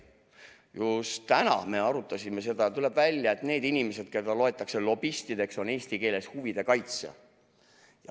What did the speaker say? Just täna me arutasime seda ja tuleb välja, et need inimesed, keda loetakse lobistideks, on eesti keeles huvide kaitsjad.